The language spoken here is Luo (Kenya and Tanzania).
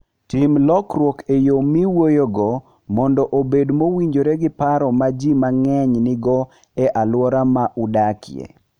Tim lokruok e yo miwuoyogo mondo obed mowinjore gi paro ma ji mang'eny nigo e alwora ma udakie.